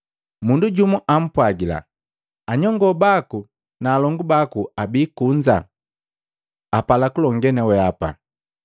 Mundu jumu ampwagila, “Anyongoo baku na alongu baku abii kunza, apala kulongee na wehapa.”